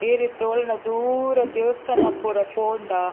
ಈರ್ ಇತ್ತೆ ಒಲ್ಲಾಂಡ ದೂರ ದೇವಸ್ಥಾನ ಪೂರ ಪೋಂಡ--